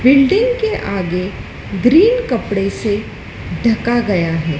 Building के आगे green कपड़े से ढका गया है।